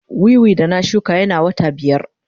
Wiwi da na shuka yana wata biyar.